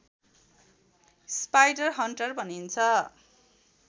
spiderhunter भनिन्छ